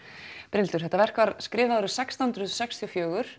Brynhildur þetta verk var skrifað árið sextán hundruð sextíu og fjögur